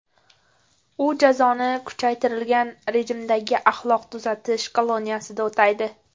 U jazoni kuchaytirilgan rejimdagi axloq tuzatish koloniyasida o‘taydi.